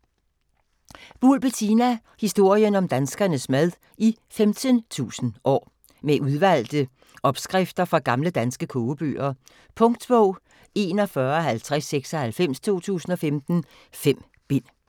Buhl, Bettina: Historien om danskernes mad i 15.000 år Med udvalgte opskrifter fra gamle danske kogebøger. Punktbog 415096 2015. 5 bind.